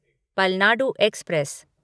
Palnadu express